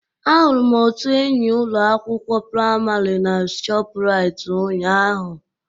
Ahụrụ m otu enyi ụlọ akwụkwọ praịmarị na shoprite ụnyaahụ